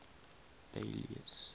alice